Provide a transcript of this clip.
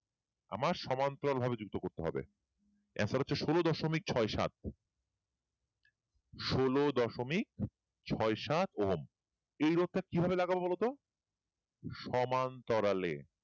আমার সমান্তরাল ভাবে যুক্ত করতে হবে answer হচ্ছে ষোলো দশমিক ছয় সাত ষোলো দশমিক ছয় সাত ওহম এই রোধ টা কিভাবে লাগাব বল তো সমান্তরালে